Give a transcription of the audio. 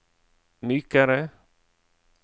mykere